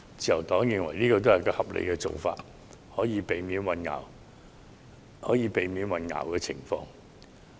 自由黨認為這是合理的做法，可以避免出現混淆。